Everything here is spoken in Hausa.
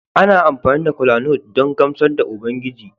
Ana amfani da kolanut don gamsar da Ubangiji